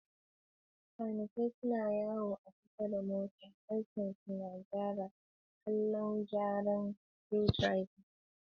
Kanikai suna yawo a kusa da mota, harshensu na gyaran maƙallan gyara da screwdrivers.